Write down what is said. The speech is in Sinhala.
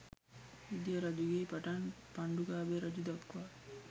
විජය රජුගේ පටන් පණ්ඩුකාභය රජු දක්වා